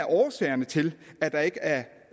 årsager til at der ikke er